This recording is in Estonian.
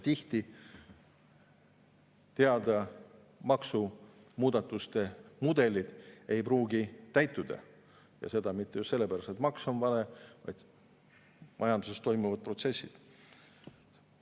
On teada, et maksumuudatuste mudelid ei pruugi täituda, mitte sellepärast, et maks on vale, vaid majanduses toimuvad protsessid.